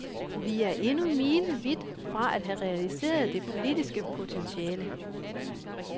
Vi er endnu milevidt fra at have realiseret det politiske potentiale.